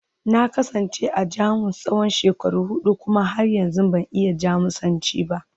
Na kasance a Jamus tsawon shekaru hudu kuma har yanzu ban iya Jamusanci ba